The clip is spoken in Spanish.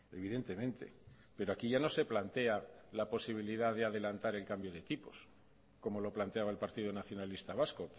evidentemente pero aquí ya no se plantea la posibilidad de adelantar el cambio de tipos como lo planteaba el partido nacionalista vasco